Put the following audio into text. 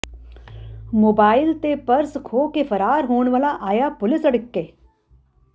mobile ਤੇ purse ਖੋਹ ਕੇ ਫਰਾਰ ਹੋਣ ਵਾਲਾ ਆਇਆ ਪੁਲਿਸ ਅੜਿੱਕੇ